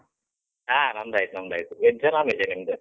ಹಾ ನಮ್ದಾಯ್ತ್ ನಮ್ದಾಯ್ತು. Veg ಆ? non - veg ಆ ನಿಮ್ದು?